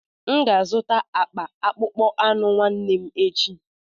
M ga-azụta akpa akpụkpọ anụ nwanne echi.